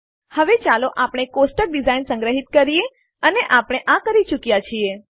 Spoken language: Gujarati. હવે ચાલો આપણે ટેબલની ડીઝાઇન સંગ્રહિત કરીએ અને આપણે આ કરી ચુક્યાં છીએ